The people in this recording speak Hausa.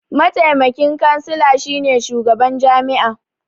Mataimakin kansila shi ne shugaban jami'a.